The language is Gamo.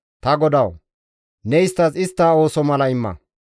Ta GODAWU! Ne isttas istta ooso mala imma.